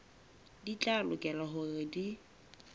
di tla lokela hore di